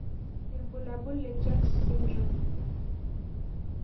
Ibulabul le Jones syndrome.